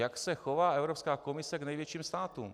Jak se chová Evropská komise k největším státům.